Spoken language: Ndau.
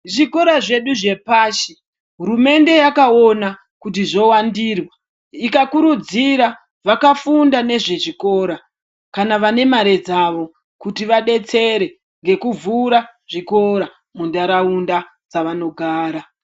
Zvikora zvedu zvepashi, hurumende yakawona kuti zowandirwa , ikakurudzira vakafunda nezvezvikora, kana vanemari dzavo kuti vadetsere ngekuvhura zvikora mundarawunda dzavanogara.